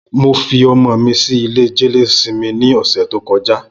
Mó fi ọmọ mi si ilé jẹléósìmì ni ọsẹ tókọ̀já